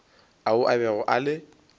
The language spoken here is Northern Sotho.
ao a bego a le